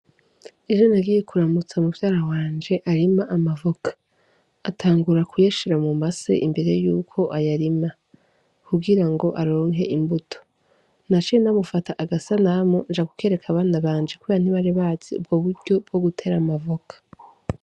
Ejo nagiye kuramutsa mu vyara wanje arima amavoka atangura kuyeshera mu mase imbere yuko ayarima kugira ngo aronke imbuto na coe namufata agasanamu nja gukereka abana banje koya ntibarebazi ubwo buryo bwo gutera amavoka.